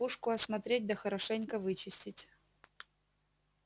пушку осмотреть да хорошенько вычистить